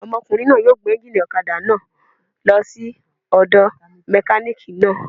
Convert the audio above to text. Ọmọkùnrin náà yóò gbé éúnjínì ọ̀kadà náà lọ sí ọ̀dọ̀ mẹkánìkì náà